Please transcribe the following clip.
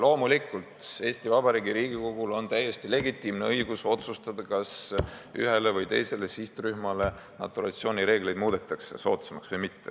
Loomulikult, Eesti Vabariigi Riigikogul on täiesti legitiimne õigus otsustada, kas ühele või teisele sihtrühmale muudetakse naturalisatsiooni reegleid soodsamaks või mitte.